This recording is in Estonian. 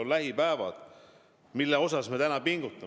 Mille nimel me pingutame?